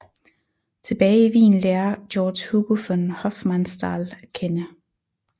Tilbage i Wien lærer George Hugo von Hofmannsthal at kende